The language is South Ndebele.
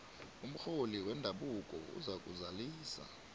umrholi wendabuko uzakuzalisa